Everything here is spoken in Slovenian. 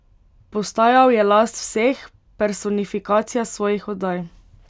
Postajal je last vseh, personifikacija svojih oddaj.